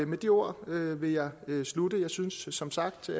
med de ord vil jeg slutte jeg synes som sagt